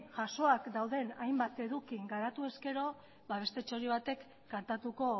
jasoak dauden hainbat eduki garatu ezkero beste txori batek kantatuko